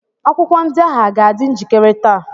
kwụkwọ ndị ahụ a ga-adị njikire taa?